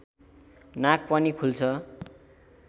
नाक पनि खुल्छ